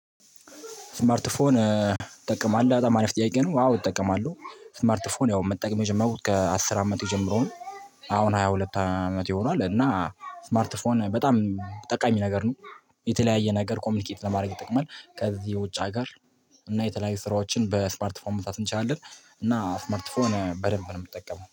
ስማርት ስማርት ፎን ትጠቀማለህ በጣም አሪፍ ጥያቄ ነው? አዎ እጠቀማለሁ። ስማርት ፎን ያው መጠቀም የጀመሩት ከአስር አመት የጀመሩን አሁን ሃያ ሁለት አመቴ ሁኗል። እና ስማርት ፎን በጣም ጠቃሚ ነገር ነው። የተለያየ ነገር ኮሚኒኬት ለማድረግ ይጠቅማል ከዚህ የውጭ ሀገር እና የተለያዩ ስራዎችን በስማርት ፎን መስራት እንችላለን። እና ስማርት ፎን በደንብ ነው ምጠቀመው